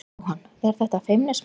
Jóhann: Er þetta feimnismál?